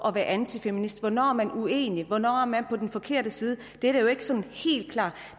at være antifeminist hvornår er man uenig hvornår er man på den forkerte side det er jo ikke sådan helt klart